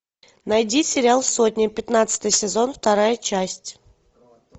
найди сериал сотня пятнадцатый сезон вторая часть